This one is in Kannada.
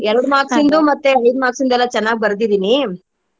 ಎರಡು marks ಇಂದು ಮತ್ತೆ ಐದು marks ದ ಎಲ್ಲ ಚೆನ್ನಾಗ್ ಬರ್ದಿದಿನಿ.